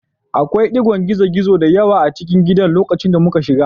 Akwai ɗigon gizo-gizo da yawa a cikin gidan lokacin da muka shiga